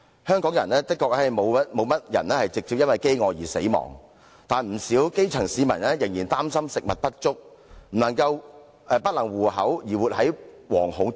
香港的確沒有甚麼人直接因飢餓而死亡，但不少基層市民仍然因擔心食物不足、不能糊口而活在惶恐之中。